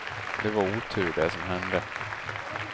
Det var otur det som hände.